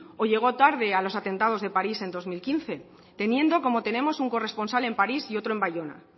o llegó tarde a los atentados de paris en dos mil quince teniendo como tenemos un corresponsal en paris y otro en bayona